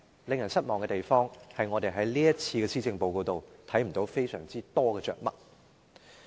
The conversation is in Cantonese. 令人失望的是，我們在這份施政報告中，看不到太多着墨。